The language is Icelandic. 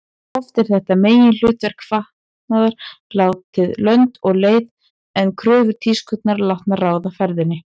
Oft er þetta meginhlutverk fatnaðar látið lönd og leið en kröfur tískunnar látnar ráða ferðinni.